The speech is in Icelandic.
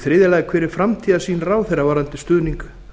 þriðji hver er framtíðarsýn ráðherra varðandi stuðning